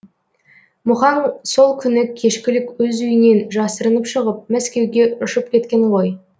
мұхаң сол күні кешкілік өз үйінен жасырынып шығып мәскеуге ұшып кеткен ғой